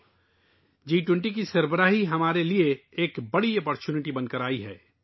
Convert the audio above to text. دوستو، جی 20 کی صدارت ہمارے لئے ایک بڑے موقع کے طور پر آئی ہے